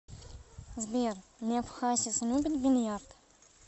сбер лев хасис любит бильярд